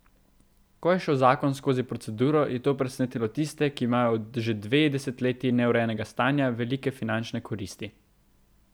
Ko je šel zakon skozi proceduro, je to presenetilo tiste, ki imajo od že dve desetletji neurejenega stanja velike finančne koristi.